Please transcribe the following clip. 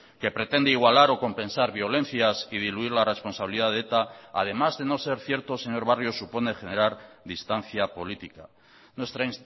que pretende igualar o compensar violencias y diluir la responsabilidad de eta además de no ser cierto señor barrio supone generar distancia política nuestra